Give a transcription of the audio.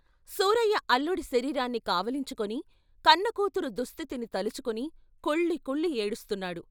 సూరయ్య అల్లుడి శరీరాన్ని కావిలించుకుని కన్న కూతురు దుస్థితిని తలుచుకొని కుళ్ళికుళ్ళి ఏడుస్తున్నాడు.